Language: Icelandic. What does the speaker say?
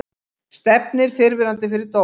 Stefnir fyrrverandi fyrir dóm